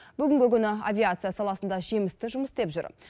бүгінгі күні авиация саласында жемісті жұмыс істеп жүр